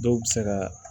Dɔw bɛ se ka